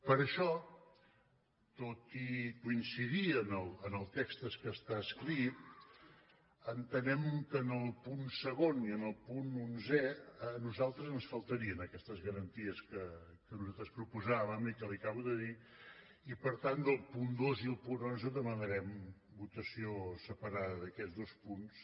per això tot i coincidir amb el text que està escrit en·tenem que en el punt segon i en el punt onzè a nosal·tres ens faltarien aquestes garanties que nosaltres pro·posàvem i que li acabo de dir i per tant del punt dos i el punt onze demanarem votació separada d’aquests dos punts